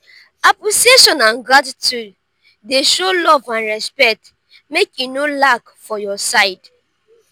appreciation and gratitude dey show love and respect make e no lack for your side.